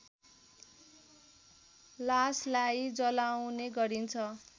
लासलाई जलाउने गरिन्छ